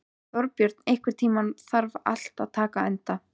Þorbjörn, einhvern tímann þarf allt að taka enda.